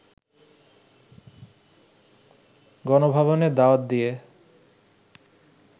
গণভবনে দাওয়াত দিয়ে